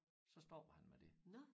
Stå stoppede han med det